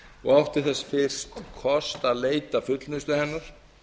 og átti þess fyrst kost að leita fullnustu hennar